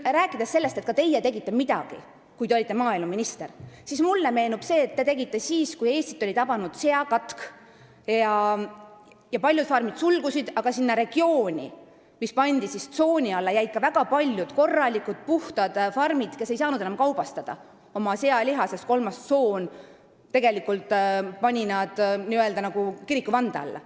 Rääkides sellest, et ka teie tegite midagi, kui te maaeluminister olite, meenub mulle aeg, kui Eestit oli tabanud seakatk ja paljud farmid suleti, aga sinna regiooni, mis pandi tsooni alla, jäid ka väga paljud puhtad farmid, kes ei saanud enam oma sealiha kaubastada, sest kolmanda tsooniga pandi nad tegelikult n-ö kirikuvande alla.